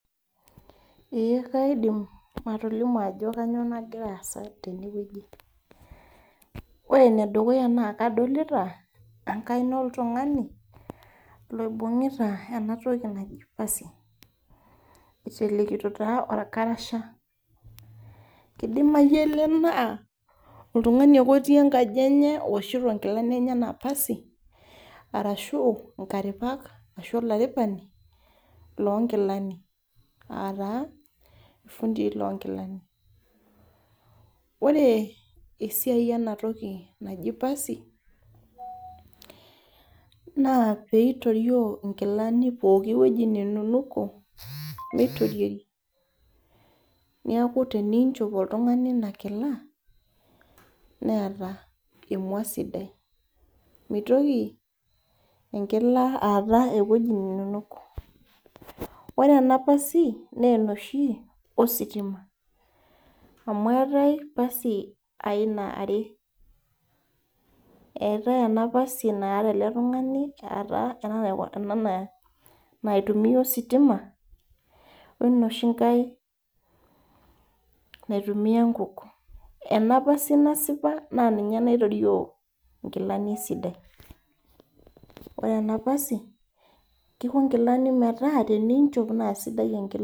Ee kaidim atolimu ajo kanyioo nagira aasa tenewueji. Ore enedukuya naa kadolita, enkaina oltung'ani loibung'ita enatoki naji pasi. Itelekito taa orkarasha. Idimayu ele naa, oltung'ani ake otii enkaji enye owoshito nkilani enyanak pasi, arashu inkaripak ashu olaripani, lonkilani. Ataa, ifundii lonkilani. Ore esiai enatoki naji pasi, naa pitorio inkilani pooki weji nenunuko, meitoriori. Neeku teninchop oltung'ani inakila, neeta emua sidai. Mitoki enkila aata ewueji nenunuko. Ore ena pasi, nenoshi ositima. Amu eetae pasi aina are. Eetae ena pasi naata ele tung'ani ataa ena naitumia ositima, wenoshi nkae naitumia nkuk. Ena pasi nasipa na ninye naitorio inkilani esidai. Ore ena pasi, kiko nkilani metaa teninchop na sidai enkila.